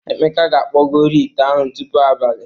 Emeka ga-akpụgori ite ahụ tupu abalị.